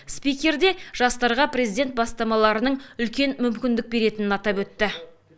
спикер де президент бастамаларының жастарға үлкен мүмкіндік беретінін атап өтті